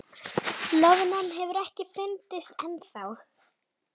Loðnan hefur ekki fundist ennþá